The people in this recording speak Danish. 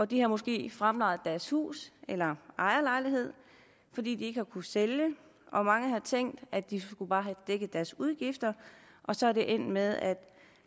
de har måske fremlejet deres hus eller ejerlejlighed fordi de ikke har kunnet sælge og mange har tænkt at de bare skulle have dækket deres udgifter og så er det endt med at en